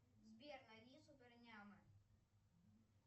сбер найди супер няма